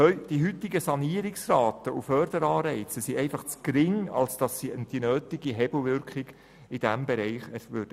Die heutigen Sanierungsraten und Förderanreize sind zu gering, als dass sie die nötige Hebelwirkung in diesem Bereich erzielen würden.